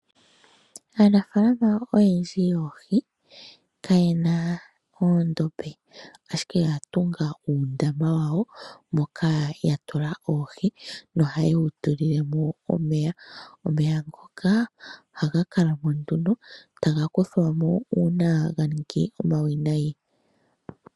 Aanafaalama oyendji yoohi kayena oondombe ashike oya tunga uundama wawo moka yatula oohi nohayedhi tulilemo omeya. Omeya ngoka ohaga kalamo nduno etaga kuthwamo uuna ganingi omawinayi.